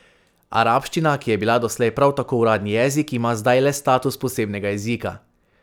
Arabščina, ki je bila doslej prav tako uradni jezik, ima zdaj le status posebnega jezika.